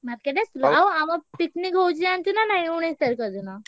Market ଆସିଥିଲ ଆଉ ଆମ picnic ହଉଛି ଜାଣିଛୁ ନାଁ ନାହିଁ ଉଣେଇଶ ତାରିଖ ଦିନ?